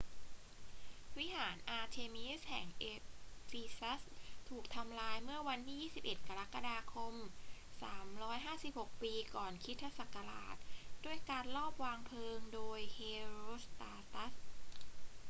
วิหารอาร์เทมีสแห่งเอฟีซัสถูกทำลายเมื่อวันที่ 21 กรกฎาคม 356 ปีก่อนคริสตศักราช ด้วยการลอบวางเพลิงโดยเฮโรสตราตัส